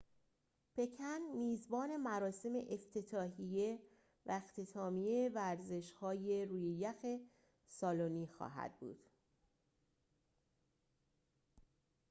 پکن میزبان مراسم افتتاحیه و اختتامیه و ورزشهای روی یخ سالنی خواهد بود